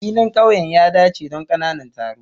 Filin ƙauyen ya dace don ƙananan taro.